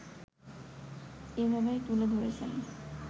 এভাবেই তুলে ধরেছেন